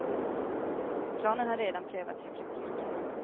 Planen har redan prövats i praktiken.